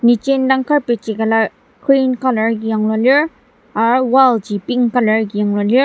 niji indang carpet ji küla green colour agi yanglua lir har wall ji pink colour agi yanglua lir.